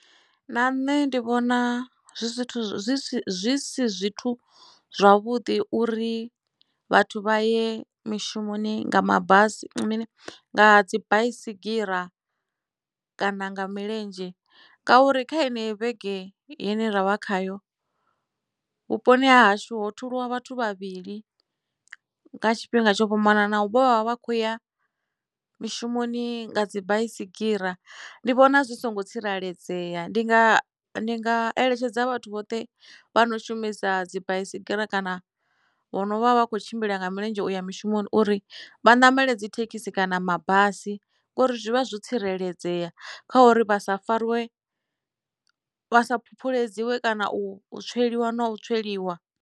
Na nṋe ndi vhona zwithu zwi si zwithu zwavhuḓi uri vhathu vha ye mishumoni nga mabasi nga dzi baisigira kana nga milenzhe ngauri kha enei vhege yene ravha khayo vhuponi ha hashu ho thuliwa vhathu vhavhili nga tshifhinga tsho fhambananaho vhovha vha khou ya mishumoni nga dzibaisigira ndi vhona zwi songo tsireledzea ndi nga ndi nga eletshedza vhathu vhoṱhe vha no shumisa dzi baisigira kana vhono vha vha vha kho tshimbila nga milenzhe uya mishumoni uri vha ṋamele dzi thekhisi kana mabasi ngori zwi vha zwo tsireledzea kha uri vha sa fariwe vha sa phuphuledziwe kana u tsweliwa na u tsweliwa.